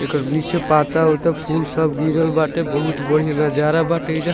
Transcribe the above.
एकर नीचे पत्ता-ओत्ता फुल सब गिरल बाटे बहुत बढ़ियां नज़ारा बाटे एइजा।